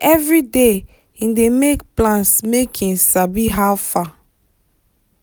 every day him dey make plans make him sabi how far.